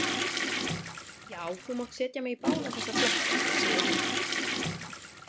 Já, þú mátt setja mig í báða þessa flokka, segir hann.